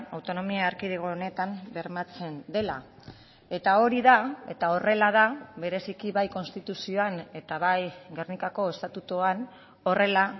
autonomia erkidego honetan bermatzen dela eta hori da eta horrela da bereziki bai konstituzioan eta bai gernikako estatutuan horrela